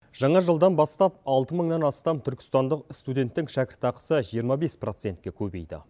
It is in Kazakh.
жаңа жылдан бастап алты мыңнан астам түркістандық студенттің шәкіртақысы жиырма бес процентке көбейді